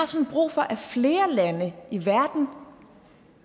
sådan brug for at flere lande i verden